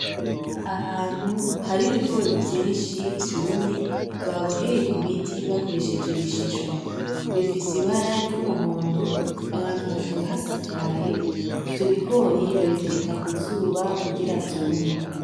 Ahantu hari ibigori vyinshi vyumye, baboheye ku biti bakoresheje ibishishwa. Bifise ibara ry’umuhondo aho hantu hakaba hasakaye. Ivyo bigori babitereka ku zuba kugira vyume.